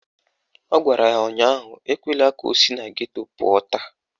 Ọ gwara ya ụnyaahụ "Ekwela ka o si na geto pụọ taa"!